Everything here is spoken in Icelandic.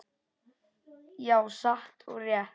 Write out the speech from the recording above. Já, satt og rétt.